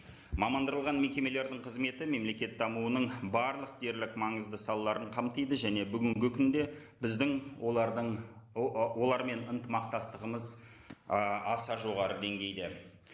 мекемелердің қызметі мемлекет дамуының барлық дерлік маңызды салаларын қамтиды және бүгінгі күнде біздің олардың олармен ынтымақтастығымыз ы аса жоғары деңгейде